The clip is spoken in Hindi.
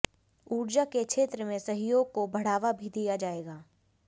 ऊर्जा के क्षेत्र में सहयोग को बढ़ावा भी दिया जाएगा